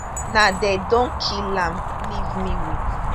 now dem don kill am leave me wit